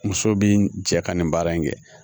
Muso bi cɛ ka nin baara in kɛ